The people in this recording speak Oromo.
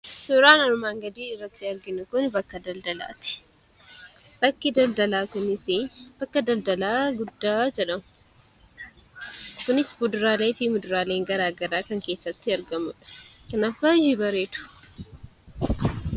Suuraan armaan gaditti arginu kun bakka daldalaati. Bakki daldalaa kunis bakka daldalaa guddaa jedhama. Kunis kuduraaleefi fuduraaleen gara garaa kan keessatti argamuudha. Kanaaf baay'ee bareedu.